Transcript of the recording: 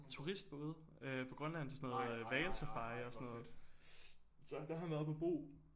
Turistbåde øh på Grønland til sådan noget hvalsafari og sådan noget så der har han været oppe og bo